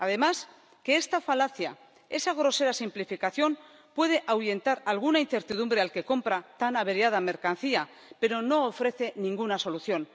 Además, esta falacia, esa grosera simplificación puede ahuyentar alguna incertidumbre al que compra tan averiada mercancía, pero no ofrece ninguna solución.